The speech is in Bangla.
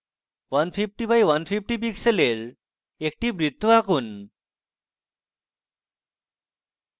150x150 pixels একটি বৃত্ত আঁকুন